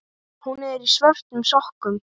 Hún er í svörtum sokkum.